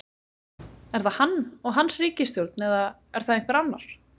Er það hann og hans ríkisstjórn eða er það einhver annar?